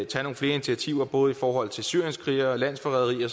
tage nogle flere initiativer både i forhold til syrienskrigere landsforrædere